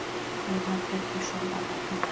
Einar Pétursson að nafni.